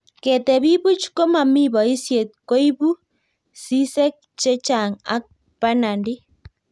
ketebii buch ko mamii boisiet ko ibuu sisek che chang' ak banandi